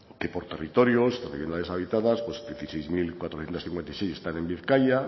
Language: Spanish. que por territorios las viviendas deshabitadas dieciséis mil cuatrocientos cincuenta y seis están en bizkaia